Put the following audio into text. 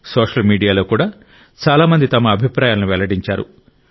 social మీడియాలో కూడా చాలా మంది తమ అభిప్రాయాలను వెల్లడించారు